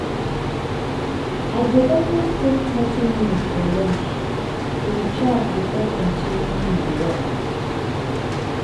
i go always take thirty minutes for lunch to recharge before continuing my work.